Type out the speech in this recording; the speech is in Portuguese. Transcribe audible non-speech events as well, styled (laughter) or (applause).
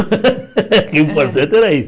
(laughs) Que o importante era